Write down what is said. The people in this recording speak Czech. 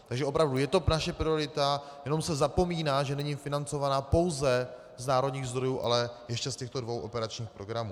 Takže opravdu je to naše priorita, jenom se zapomíná, že není financována pouze z národních zdrojů, ale ještě z těchto dvou operačních programů.